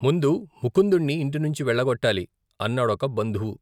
ముందు ముకుందుణ్ణి ఇంటినుంచి వెళ్ళ గొట్టాలి ! అన్నాడొక బంధువు.